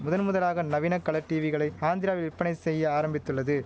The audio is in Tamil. முதன் முதலாக நவீன கலர் டீவிகளை ஆந்திராவில் விற்பனை செய்ய ஆரம்பித்துள்ளது